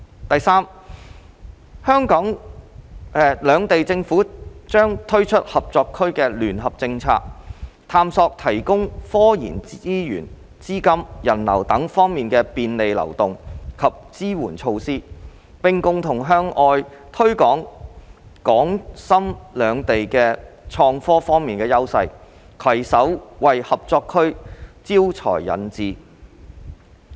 第三，兩地政府將推出合作區的聯合政策，探索提供科研資源、資金及人流等方面的便利流動及支援措施，並共同向外推廣港深兩地在創科方面的優勢，攜手為合作區招才引智。